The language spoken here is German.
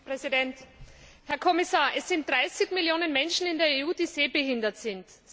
Herr Präsident! Herr Kommissar, es sind 30 Millionen Menschen in der EU, die sehbehindert sind.